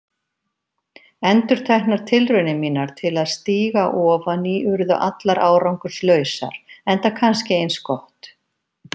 Endurteknar tilraunir mínar til að stíga ofan í urðu allar árangurslausar, enda kannski eins gott.